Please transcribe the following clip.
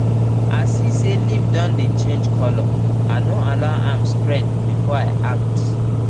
i see say leaf don dey change colour i no allow am spread before i act